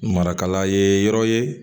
Marakala ye yɔrɔ ye